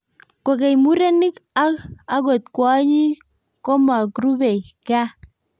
kokeny, murenik ak akot kwonyik komakrubei gaa